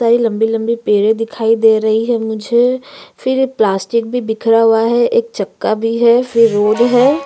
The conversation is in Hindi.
बहुत सारी लम्बी-लम्बी पेड़े दिखाई दे रही है मुझे फिर प्लास्टिक भी बीखरा हुवा है एक चक्का भी है फिर रोड है।